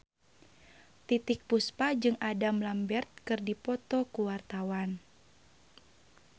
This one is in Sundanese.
Titiek Puspa jeung Adam Lambert keur dipoto ku wartawan